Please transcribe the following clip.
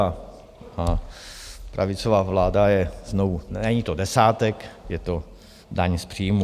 A pravicová vláda ho znovu, není to desátek, je to daň z příjmu.